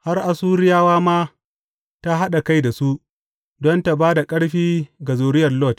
Har Assuriya ma ta haɗa kai da su don ta ba da ƙarfi ga zuriyar Lot.